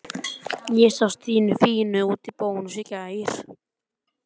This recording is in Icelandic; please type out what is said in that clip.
Og þarna sjáið þið nú sjálfan Heimdall liggjandi á sjónum.